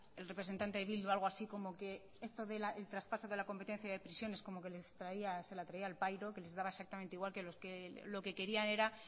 el representante de bildu algo así como que esto del traspaso de la competencia de prisiones como que se la traía al pairo que les daba exactamente igual lo que querían era